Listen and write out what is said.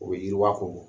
O bɛ yiriwa ko